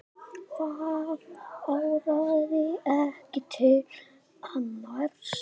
Það áraði ekki til annars.